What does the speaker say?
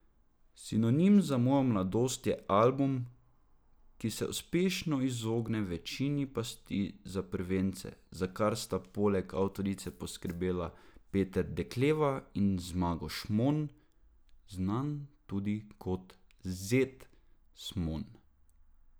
Sinonim za mojo mladost je album, ki se uspešno izogne večini pasti za prvence, za kar sta poleg avtorice poskrbela Peter Dekleva in Zmago Šmon, znan tudi kot Zed Smon.